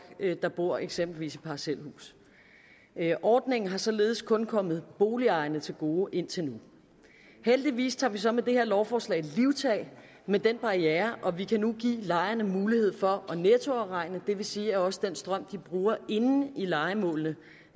der bor eksempelvis i parcelhus ordningen er således kun kommet boligejerne til gode indtil nu heldigvis tager vi så med det her lovforslag livtag med den barriere og vi kan nu give lejerne mulighed for at nettoafregne det vil sige at også den strøm de bruger inde i lejemålene